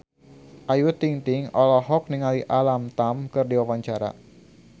Ayu Ting-ting olohok ningali Alam Tam keur diwawancara